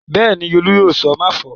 Bẹ́ẹ̀ ni, Folú yóò sọ "máfọ̀ọ́".